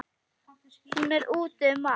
Hún er úti um allt.